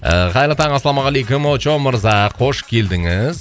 ыыы қайырлы таң ассалаумағалейкум очоу мырза қош келдіңіз